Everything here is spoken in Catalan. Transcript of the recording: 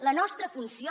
la nostra funció